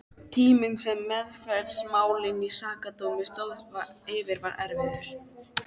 Tíminn sem meðferð málsins í Sakadómi stóð yfir var erfiður.